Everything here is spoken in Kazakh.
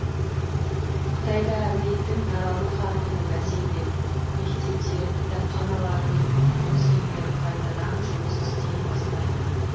қытайда індеттің таралу қарқыны бәсеңдеп мектептер кітапханалар мен музейлер қайтадан жұмыс істей бастады